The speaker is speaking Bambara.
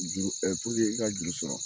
Juru i ka juru sɔrɔ